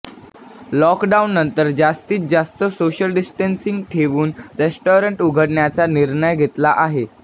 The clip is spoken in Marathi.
लॉकडाउननंतर जास्तीत जास्त सोशल डिस्टन्सिंग ठेवून रेस्टॉरंट उघडण्याचा निर्णय घेतला आहे